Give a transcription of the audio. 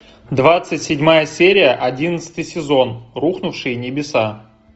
двадцать седьмая серия одиннадцатый сезон рухнувшие небеса